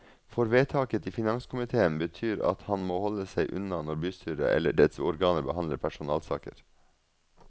For vedtaket i finanskomitéen betyr at han må holde seg unna når bystyret eller dets organer behandler personalsaker.